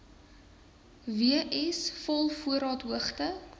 w s volvoorraadhoogte